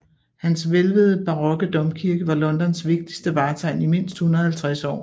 Hans hvælvede barokke domkirke var Londons vigtigste vartegn i mindst 150 år